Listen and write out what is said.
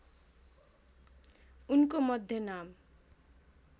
उनको मध्य नाम